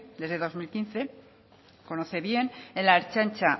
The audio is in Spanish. desde el dos mil quince lo conoce bien en la ertzaintza